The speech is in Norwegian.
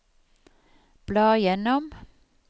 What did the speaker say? bla gjennom